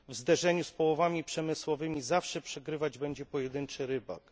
W zderzeniu z połowami przemysłowymi zawsze przegrywać będzie pojedynczy rybak.